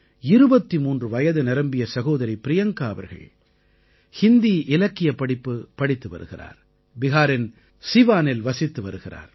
23 வயது நிரம்பிய சகோதரி ப்ரியங்கா அவர்கள் ஹிந்தி இலக்கியப்படிப்பு படித்து வருகிறார் பிஹாரின் சீவானில் வசித்து வருகிறார்